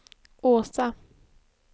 Åsa